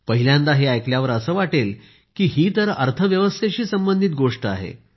पहिल्यांदा हे ऐकल्यावर असं वाटेल की ही तर अर्थव्यवस्थेशी संबंधित गोष्ट आहे